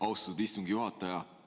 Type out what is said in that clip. Austatud istungi juhataja!